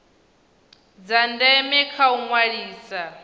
dza ndeme kha u ṅwalisa